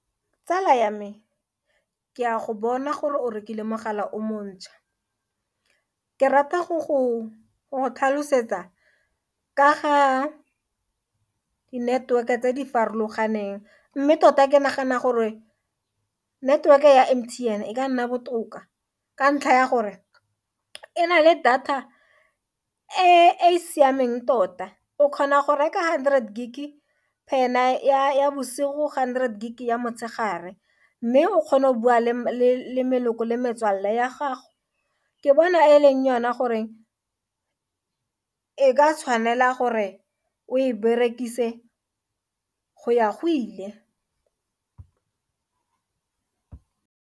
Tsala ya me, ke a go bona gore o rekile mogala o montšhwa ke rata go tlhalosetsa ka ga di-network-e tse di farologaneng mme tota ke nagana gore network-e ya M_T_N e ka nna botoka ka ntlha ya gore e na le data e siameng tota o kgona go reka hundred gig per night ya bosigo hundred gig ya motshegare mme o kgona go bua le meloko le metswalle ya gago, ke bona e leng yone gore e ka tshwanela gore o e berekise go ya go ile.